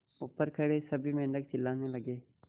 ऊपर खड़े सभी मेढक चिल्लाने लगे